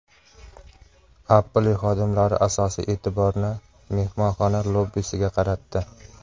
Apple xodimlari asosiy e’tiborni mehmonxona lobbisiga qaratdi.